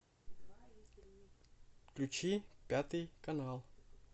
включи пятый канал